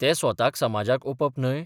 ते स्वताक समाजाक ओपप न्हय?